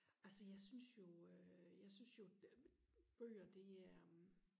altså jeg synes jo øh jeg synes jo bøger det er